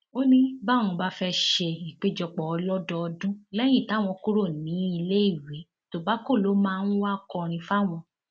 ó ní báwọn bá fẹẹ ṣe ìpéjọpọ ọlọdọọdún lẹyìn táwọn kúrò níléèwé tobacco ló máa ń wáá kọrin fáwọn